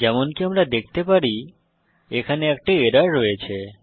যেমনকি আমরা দেখতে পারি এখানে একটি এরর রয়েছে